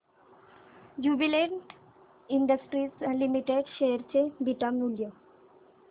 Jubilant industries limited share चे beta मूल्य